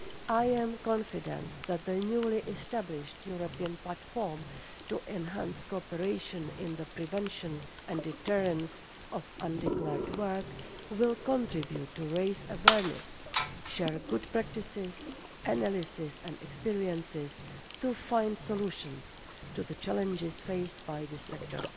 I am confident that the newly-established European Platform to Enhance Cooperation in the Prevention and Deterrence of Undeclared Work will contribute to raising awareness and sharing good practices, analysis and experiences to find solutions to the challenges faced by this sector.